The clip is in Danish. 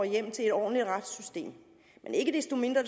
hjem til et ordentligt retssystem men ikke desto mindre